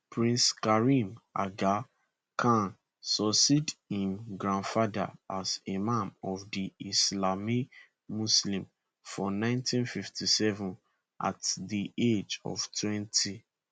prince karim aga khan succeed im grandfather as imam of di ismaili muslims for 1957 at di age of 20